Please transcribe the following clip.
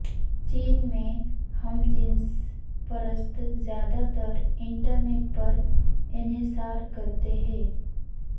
چین میں ہم جنس پرست زیادہ تر انٹرنیٹ پر انحصار کرتے ہیں